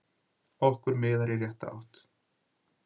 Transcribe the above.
Okkur miðar í rétta átt